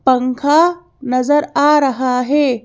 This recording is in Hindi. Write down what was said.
पंखा नजर आ रहा है।